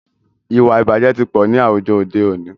Ìwàìbàjẹ́ tí pọ̀ ní àwùjọ òde òní.